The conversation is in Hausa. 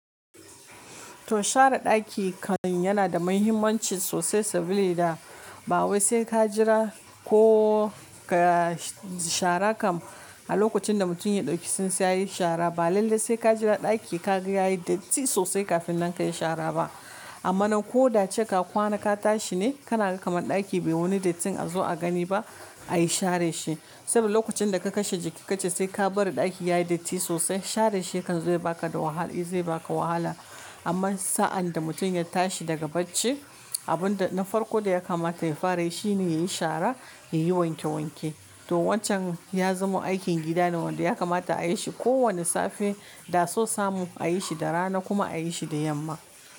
To share ɗaki kam yana da mahimmanci sosai, sabilida da ba wai sai ka jira ko ka shara kam. A lokacin da mutum ya ɗauki tsintsiya yayi shara ba. Lalle sai ka jira ɗaki ka ga yayi datti sosai kafin nan ka yi shara ba. Amma nan ko da ace ka kwana ka tashi ne, kana ga kaman ɗaki bai wani dattin a zo a gani ba a yi share shi. Saboda lokacin da ka kashe jiki kace sai ka bari ɗaki yayi datti sosai, share shi ya kan zo ya baka da wahala, zai baka wahala. Amman sa'an da mutum ya tashi daga bacci, abin da na farko da ya kamata ya fara yi shine ya yi shara, ya yi wanke wanke. To wancan ya zamo aikin gida ne wanda ya kamata a yi shi kowane safe, da so samu a yi shi da rana kuma a yi shi da yamma.